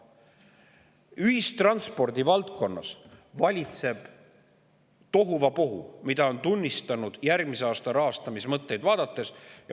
Ühistranspordi valdkonnas valitseb tohuvabohu, mida on tunnistanud järgmise aasta rahastamismõtteid vaadates …